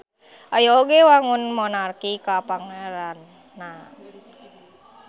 Aya oge wangun monarki kapangeranan.